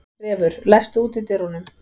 Refur, læstu útidyrunum.